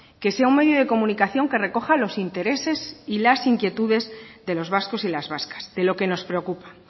que sea un medio de comunicación que recoja los intereses y las inquietudes de los vascos y las vascas de lo que nos preocupa